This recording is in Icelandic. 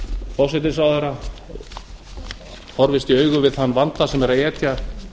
forsætisráðherra horfist í augu við þann vanda sem við er að etja